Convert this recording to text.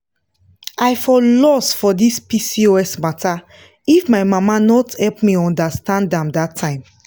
i for lost for this pcos matter if my mama no help me understand am that time.